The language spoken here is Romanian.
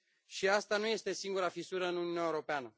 Și asta nu este singura fisură în Uniunea Europeană.